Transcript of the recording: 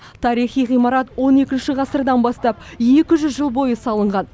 тарихи ғимарат он екінші ғасырдан бастап екі жүз жыл бойы салынған